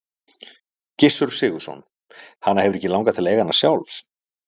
Gissur Sigurðsson: Hana hefur ekki langað til að eiga hana sjálf?